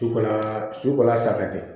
Su kola su kola saga de